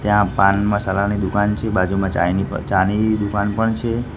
ત્યાં પાન મસાલાની દુકાન છે બાજુમાં ચાઈની ચાની દુકાન પણ છે.